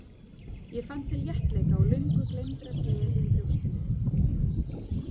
Ég fann til léttleika og löngu gleymdrar gleði í brjóstinu.